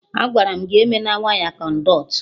Agwaram gị eme na waya Kọnduit